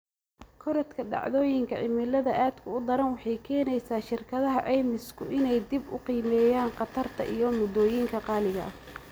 Korodhka dhacdooyinka cimilada aadka u daran waxay keenaysaa shirkadaha caymisku inay dib u qiimeeyaan khatarta iyo moodooyinka qaaliga ah.